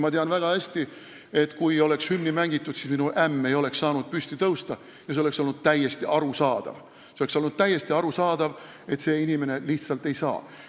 Ma tean väga hästi sedagi, et kui oleks hümni mängitud, siis ei oleks minu ämm saanud püsti tõusta, ja see oleks täiesti arusaadav olnud – inimene lihtsalt ei oleks saanud.